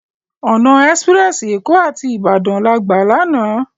Òná èsipirèsi Ékó áti Ibadan lágbá làná